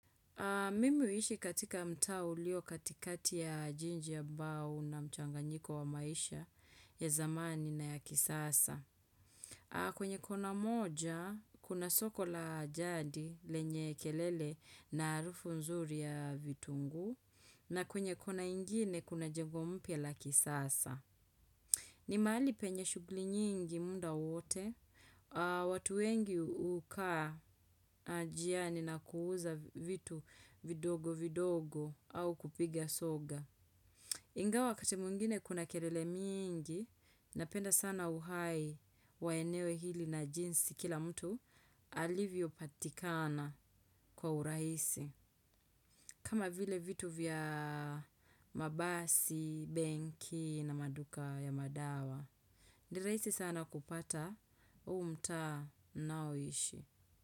Mimi huishi katika mtaa ulio katikati ya jiji ambao una mchanganyiko wa maisha ya zamani na ya kisasa. Kwenye kona moja, kuna soko la jadi, lenye kelele na harufu nzuri ya vitunguu, na kwenye kona ingine, kuna jengo mpya la kisasa. Ni mahali penye shughuli nyingi muda wowote, watu wengi hukaa njiani na kuuza vitu vidogo vidogo au kupiga soga. Ingawa wakati mwingine kuna kelele mingi, napenda sana uhai wa eneo hili na jinsi kila mtu alivyopatikana kwa urahisi. Kama vile vitu vya mabasi, benki na maduka ya madawa. Ni rahisi sana kupata huu mtaa ninaoishi.